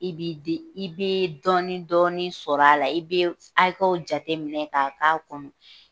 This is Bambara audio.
I bi de, i be dɔɔni dɔɔni sɔrɔ a la, i be hakɛw jateminɛ ka k'a kɔnɔ.